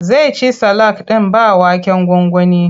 Zai ci salak ɗin ba waken gwangwani.